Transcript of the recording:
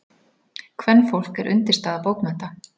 Kvenfólk er undirstaða bókmennta.